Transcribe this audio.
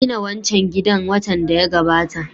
An gina wancan gidan watan da ya gabata